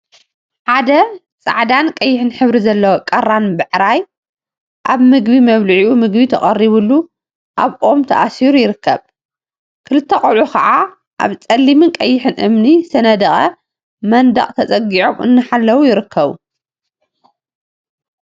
ሓደ ፃዕዳን ቀይሕን ሕብሪ ዘለዎ ቀራን ባዕራይ አብ ምግቢ መብልዒኡ ምግቢ ተቀሪቡሉ አብ ኦም ተአሲሩ ይርከብ። ክልተ ቆልዑ ከዓ አብ ፀሊምን ቀይሕን እምኒ ዝተነደቀ መንደቅ ተፀጊዖም እናሓለው ይርከቡ።